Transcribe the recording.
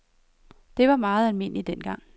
Det var meget almindeligt dengang.